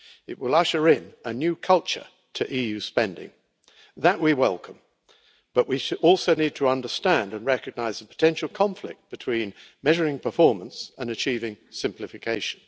It will usher in a new culture to EU spending that we welcome, but we also need to understand and recognise the potential conflict between measuring performance and achieving simplification.